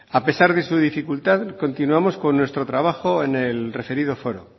a pesar de su dificultad continuamos con nuestro trabajo en el referido foro